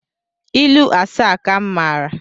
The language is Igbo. Ilu asaa ka m mara